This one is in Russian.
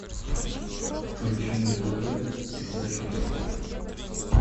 включи на тв передачу дискавери